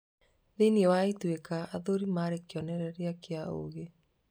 Thĩinĩ wa Ituĩka, athuri maarĩ kĩonereria kĩa ũũgĩ.